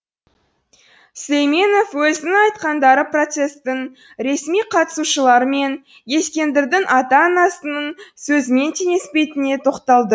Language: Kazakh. сүлейменов өзінің айтқандары процестің ресми қатысушылары мен ескендірдің ата анасының сөзімен теңеспейтініне тоқталды